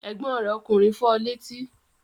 Ẹ̀gbọ́n rẹ̀ ọkùnrin fọ létí?